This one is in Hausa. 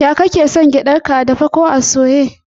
Ya kake son gyadar ka, a dafe ko a soye?